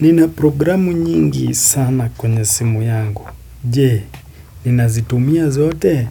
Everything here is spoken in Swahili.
Nina programu nyingi sana kwenye simu yangu, je?, nina zitumia zote,